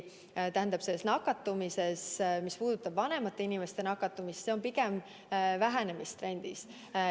Ja mis puudutab vanemate inimeste nakatumist, siis see on pigem vähenemistrendis.